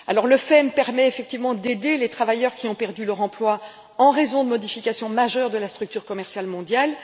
Le FEM permet effectivement d'aider les travailleurs qui ont perdu leur emploi en raison de modifications majeures de la structure commerciale mondiale.